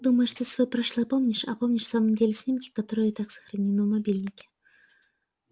думаешь ты своё прошлое помнишь а помнишь на самом деле снимки которые и так сохранены в мобильнике